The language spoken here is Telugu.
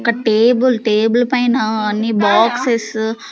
ఒక టేబుల్ టేబుల్ పైన అన్ని బాక్సెస్సు --